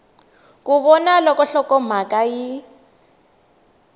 ku vona loko nhlokomhaka yi